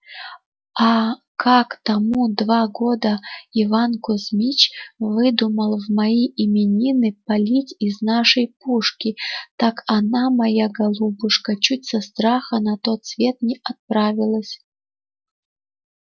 а как тому два года иван кузмич выдумал в мои именины палить из нашей пушки так она моя голубушка чуть со страха на тот свет не отправилась